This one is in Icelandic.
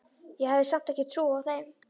Ég hafði samt ekki trúað þeim.